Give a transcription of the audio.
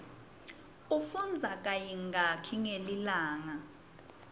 ufundza kayingaki ngelilanga